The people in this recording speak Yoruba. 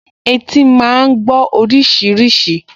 Etí máa gbọ́ oríṣiríṣi